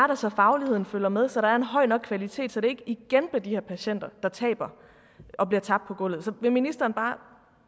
der så fagligheden følger med så der er en høj nok kvalitet så det ikke igen bliver de her patienter der taber og bliver tabt på gulvet så vil ministeren og